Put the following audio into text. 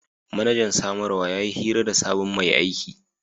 Manajan samarwa ya yi hira da sabon mai aiki.